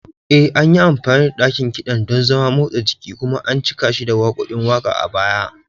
E, an yi amfani da ɗakin kiɗan don zaman motsa jiki kuma an cika shi da waƙoƙin waƙa a baya.